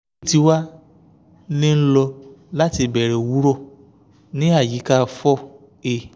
eyi ti wa ni n lọ lati ibẹrẹ owurọ ni ayika four a